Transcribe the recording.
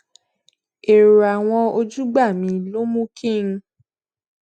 èrò àwọn ojúgbà mi ló mú kí n